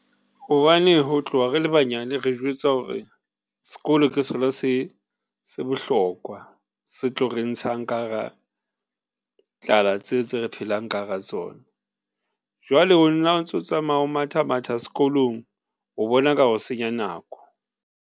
Hobane ho tloha re le banyane, re jwetsa hore s'kolo ke sona se se bohlokwa, se tlo re ntshang ka hara tlala tse tse re phelang ka hara tsona. Jwale o nna o ntso tsamaya o matha matha s'kolong o bona ka re o senya nako.